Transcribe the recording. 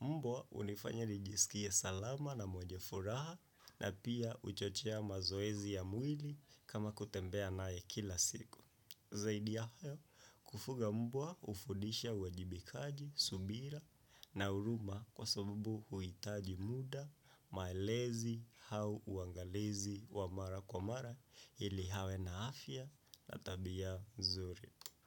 Mbwa hunifanya nijisikie salama na mwenye furaha na pia huchochea mazoezi ya mwili kama kutembea naye kila siku. Zaidi ya hayo kufuga mbwa hufundisha uwajibikaji, subira na huruma kwa sababu huhitaji muda, malezi au uangalizi wa mara kwa mara ili awe na afya na tabia mzuri.